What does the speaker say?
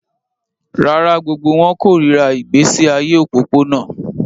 Rárá, gbogbo wọn kórìíra ìgbésí ayé òpópónà